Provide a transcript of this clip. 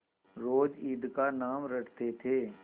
रोज ईद का नाम रटते थे